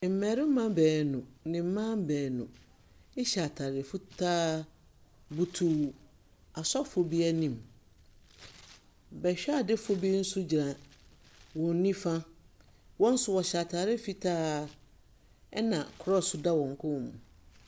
Mbɛrema beenu ne mbaa beenu ehyɛ ataare fitaa, botuw asɔfo bi enim. Bɛhwɛadefo bi so gyina wɔn nifa, wɔn so wɔhyɛ ataare fitaa ɛna krɔs da wɔn kɔn mu.